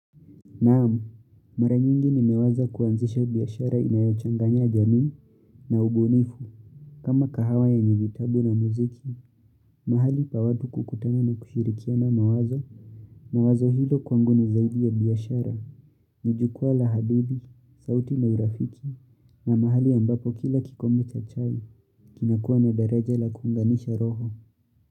Naam, mara nyingi nimeweza kuanzisha biashara inayochanganya jamii na ubunifu. Kama kahawa yenye vitabu na muziki, mahali pa watu kukutana na kushirikiana mawazo na wazo hilo kwangu ni zaidi ya biashara. Nijukwaa la hadithi, sauti na urafiki na mahali ambapo kila kikombe cha chai kinakua na daraja la kuunganisha roho.